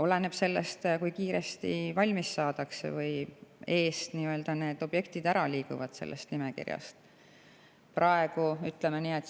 Oleneb sellest, kui kiiresti valmis saadakse või nad nimekirjas eest ära liiguvad.